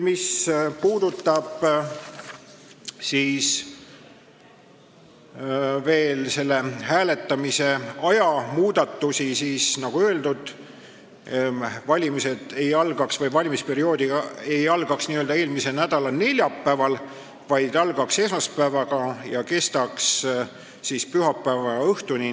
Mis puudutab hääletamise aega, siis nagu öeldud, valimisperiood ei algaks edaspidi n-ö eelmise nädala neljapäeval, vaid algaks esmaspäeval ja kestaks pühapäeva õhtuni.